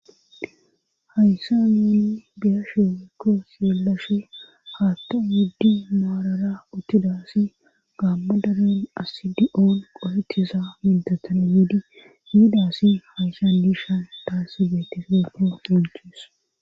hayssa mini biyashe woykko seellashe haatton wuddi maarara uttidasi gaamma dalen asidi7oon qohettiza mintatane wodi hiidasi hayssan diishan daassi beetefeko sonchies